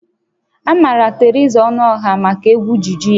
A maara Theresa Ọnụọha maka egwu juju ya